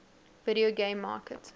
video game market